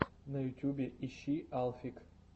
на ютубе ищи алфик